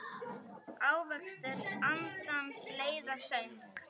Ávextir andans leiða söng.